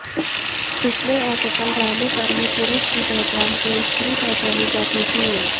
इसमें असफल रहने पर ही पुरूष की पहचान से स्त्री पहचानी जाती थी